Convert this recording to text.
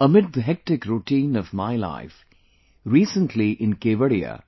Amid the hectic routine of my life, recently in Kevadia,